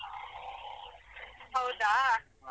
ಹೌದಾ.